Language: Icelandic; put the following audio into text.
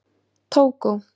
Tógó